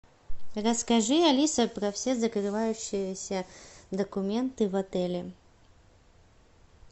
расскажи алиса про все закрывающиеся документы в отеле